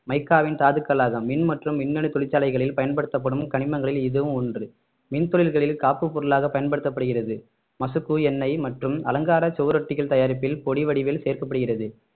மைக்காவின் தாதுக்களாக மின் மற்றும் மின்னணு தொழிற்சாலைகளில் பயன்படுத்தப்படும் கனிமங்களில் இதுவும் ஒன்று மின் தொழில்களில் காப்பு பொருளாக பயன்படுத்தப்படுகிறது மசுகு எண்ணெய் மற்றும் அலங்கார சுவரொட்டிகள் தயாரிப்பில் பொடி வடிவில் சேர்க்கப்படுகிறது